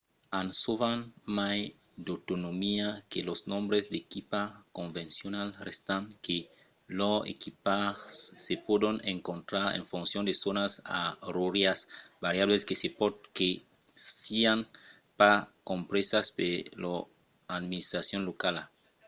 an sovent mai d’autonomia que los membres d’equipa convencionals estant que lors equipas se pòdon encontrar en foncion de zònas oràrias variablas que se pòt que sián pas compresas per lor administracion locala